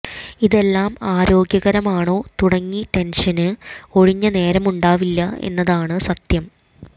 ഇതെല്ലാം ആരോഗ്യകരമാണോ തുടങ്ങി ടെന്ഷന് ഒഴിഞ്ഞ നേരമുണ്ടാവില്ല എന്നതാണ് സത്യം